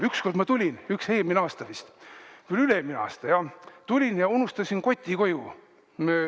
Ükskord ma tulin, eelmine aasta vist oli või üle-eelmine aasta, ja unustasin koti koju.